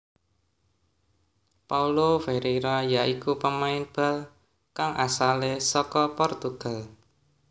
Paulo Ferreira ya iku pemain bal kang asalé saka Portugal